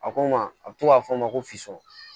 A ko n ma a bɛ to k'a fɔ ma ko fisɔrɔ